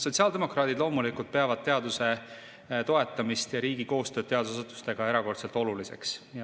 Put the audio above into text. Sotsiaaldemokraadid loomulikult peavad teaduse toetamist ja riigi koostööd teadusasutustega erakordselt oluliseks.